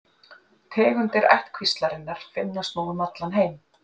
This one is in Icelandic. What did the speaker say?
Tegundir ættkvíslarinnar finnast nú um allan heim.